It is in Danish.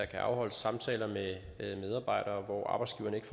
kan afholdes samtaler med medarbejdere hvor arbejdsgiveren ikke